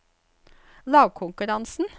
lagkonkurransen